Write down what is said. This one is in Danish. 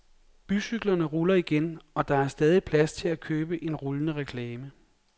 Bycyklerne ruller igen, og der er stadig plads til at købe en rullende reklame.